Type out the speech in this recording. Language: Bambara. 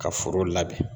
Ka foro labɛn